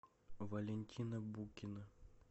валентина букина